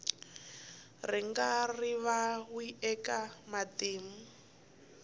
ri nga rivariwi eka matimu